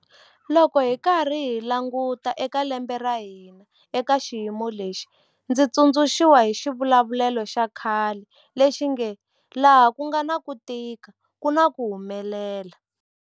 Loko hi karhi hi languta eka lembe ra hina eka xiyimo lexi, ndzi tsundzuxiwa hi xivulavulelo xa khale lexi nge laha ku nga na ku tika ku na ku humelela.